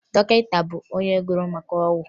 Dọkịta bụ onye gụrụ maka ọgwụ